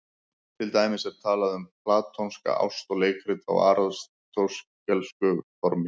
Til dæmis er talað um platónska ást og leikrit á aristótelísku formi.